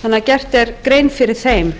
þannig að gert er grein fyrir þeim